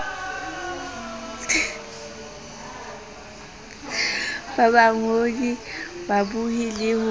ba bangodi babohi le ho